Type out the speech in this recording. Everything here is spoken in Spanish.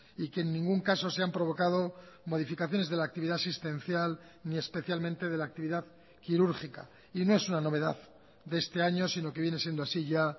y que en ningún caso se han provocado modificaciones de la actividad asistencial ni especialmente de la actividad quirúrgica y no es una novedad de este año sino que viene siendo así ya